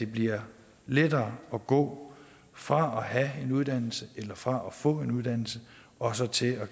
bliver lettere at gå fra at have en uddannelse eller fra at få en uddannelse og så til at